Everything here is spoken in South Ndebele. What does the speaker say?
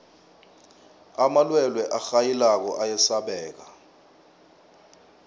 amalwelwe arhayilako ayasabeka